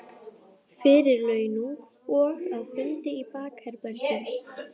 Róbert: Fyrir launung og að, fundi í bakherbergjum?